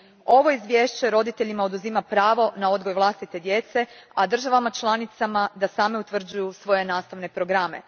Ovo izvješće roditeljima oduzima pravo na odgoj vlastite djece, a državama članicama da same utvrđuju svoje nastavne programe.